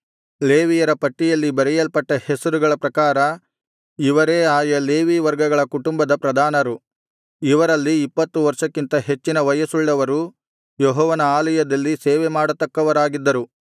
ಲೇವಿಯರ ಪಟ್ಟಿಯಲ್ಲಿ ಬರೆಯಲ್ಪಟ್ಟ ಹೆಸರುಗಳ ಪ್ರಕಾರ ಇವರೇ ಆಯಾ ಲೇವಿ ವರ್ಗಗಳ ಕುಟುಂಬದ ಪ್ರಧಾನರು ಇವರಲ್ಲಿ ಇಪ್ಪತ್ತು ವರ್ಷಕ್ಕಿಂತ ಹೆಚ್ಚಿನ ವಯಸ್ಸುಳ್ಳವರು ಯೆಹೋವನ ಆಲಯದಲ್ಲಿ ಸೇವೆಮಾಡತಕ್ಕವರಾಗಿದ್ದರು